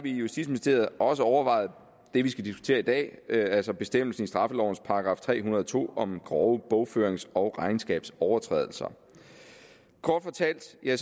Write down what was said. i justitsministeriet også overvejet det vi skal diskutere i dag altså bestemmelsen i straffelovens § tre hundrede og to om grove bogførings og regnskabsovertrædelser kort fortalt er